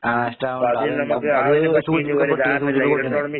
ആഹ് നഷ്ടാവണ്ണ്ട്. അത്